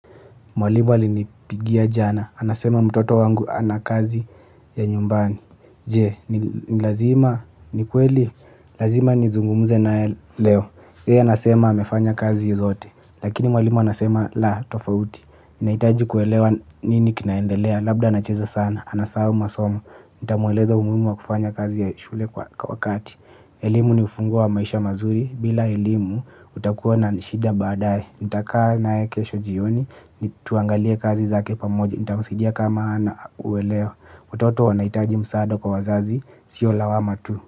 Mwalimu alinipigia jana, anasema mtoto wangu ana kazi ya nyumbani je ni lazima ni kweli lazima nizungumuze naye leo yeye anasema amefanya kazi zote. Lakini mwalimu anasema, la, tofauti. Inaitaji kuelewa nini kinaendelea, labda anacheza sana, anasahau masomo nitamueleza umuhimu wa kufanya kazi ya shule kwa wakati. Elimu ni ufunguo wa maisha mazuri, bila elimu utakuwa unanishida badaye nitakaa naye kesho jioni tuangalie kazi zake pamoja nitamsaidia kama ana uweleo watoto wanahitaji msaada kwa wazazi sio lawama tu.